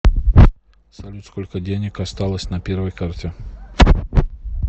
салют сколько денег осталось на первой карте